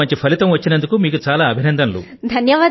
ఇంత మంచి ఫలితం వచ్చినందుకు మీకు చాలా అభినందనలు